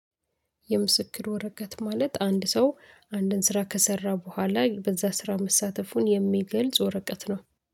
የምስክር ወረቀት ማለት አንድ ሰው አንድን ስራ ከሰራ በኋላ በዛ ስራ መሳተፉን የሚገልጽ ወረቀት ነው